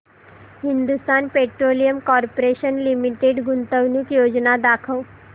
Hindustan petroleum corporation limited गुंतवणूक योजना दाखव